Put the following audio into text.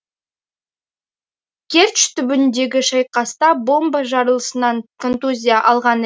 керчь түбіндегі шайқаста бомба жарылысынан контузия алған